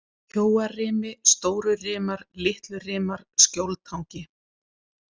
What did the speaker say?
Kjóarimi, Stórurimar, Litlurimar, Skjóltangi